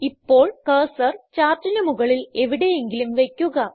ഇപ്പോൾ കർസർ ചാർട്ടിന് മുകളിൽ എവിടെയെങ്കിലും വയ്ക്കുക